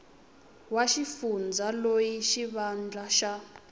wa xifundza loyi xivandla xa